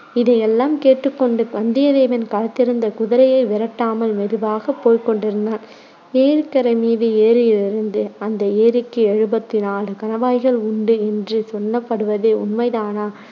இதையெல்லாம் கேட்டுக் கொண்டு வந்தியத்தேவன் களைத்திருந்த குதிரையை விரட்டாமல் மெதுவாகவே போய்க் கொண்டிருந்தான். ஏரிக்கரை மீது ஏறியதிலிருந்து அந்த ஏரிக்கு எழுபத்துநாலு கணவாய்கள் உண்டு என்று சொல்லப்படுவது உண்மைதானா